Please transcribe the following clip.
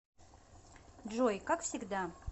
джой как всегда